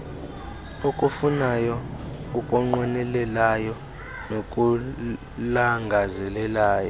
okufunayo okunqwenelayo nokulangazelelayo